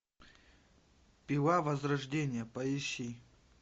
пила возрождение поищи